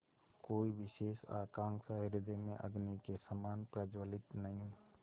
कोई विशेष आकांक्षा हृदय में अग्नि के समान प्रज्वलित नहीं